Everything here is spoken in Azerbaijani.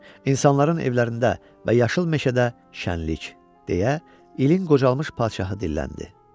İnsanların evlərində və yaşıl meşədə şənlik, deyə ilin qocalmış padşahı dilləndi.